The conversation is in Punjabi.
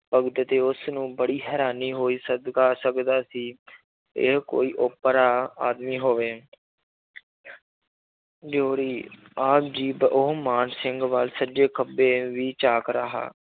ਭਗਤ ਤੇ ਉਸ ਨੂੰ ਬੜੀ ਹੈਰਾਨੀ ਹੋਈ ਸਦਕਾ ਸਕਦਾ ਸੀ ਇਹ ਕੋਈ ਓਪਰਾ ਆਦਮੀ ਹੋਵੇ ਦਿਓੜੀ ਆਪ ਜੀ ਪ~ ਉਹ ਮਾਨ ਸਿੰਘ ਵੱਲ ਸੱਜੇ ਖੱਬੇ ਵੀ ਝਾਕ ਰਿਹਾ